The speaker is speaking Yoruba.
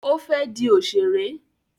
Ó fẹ́ di òṣèré.